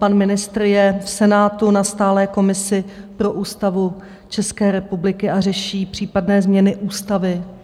Pan ministr je v Senátu na stálé komisi pro Ústavu České republiky a řeší případné změny ústavy.